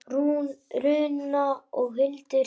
Rúna og Hildur.